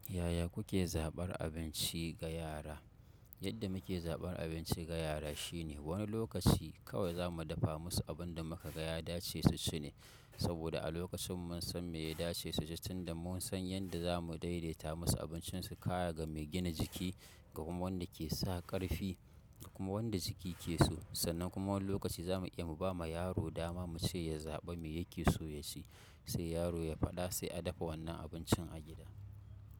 Yaya kuke zabar abinci ga yara? Yadda mike zabar abinci ga yara shine wani lokaci kawai za mu dafa musu abin da muka ga ya dace su ci ne. Saboda a lokacin mun san me ya dace suji tinda mun san yanda za mu daidaita musu abincin su kaya ga me gina jiki, ga kuma wanda ke sa ƙarfi kuma wanda jiki ke so. Sannan kuma wani lokaci za mu iya mu ba ma yaro dama mu ce ya zaɓa me yake so ya ci, sai yaro ya faɗa sai a dafa wannan abincin a gida.